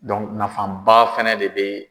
nafa ba fɛnɛ de be